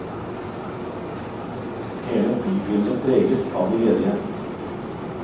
Hele bybildet preges av de ledige.